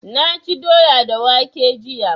Na ci doya da waƙe jiya